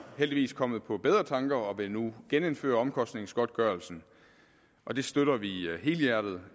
heldigvis kommet på bedre tanker og vil nu genindføre omkostningsgodtgørelsen og det støtter vi helhjertet